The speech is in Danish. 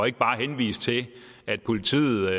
ikke bare at henvise til at politiet